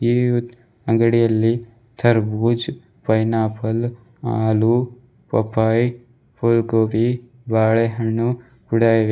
ಈ ಅಂಗಡಿಯಲ್ಲಿ ತರ್ಬುಜ್ ಪೈನಾಪಲ್ ಹಾಲು ಪಾಪಯ್ ಫುಲ್ ಗೋಬಿ ಬಾಳೆಹಣ್ಣು ಕೂಡ ಇವೆ.